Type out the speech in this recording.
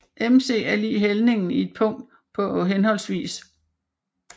MC er lig hældningen i et punkt på hhv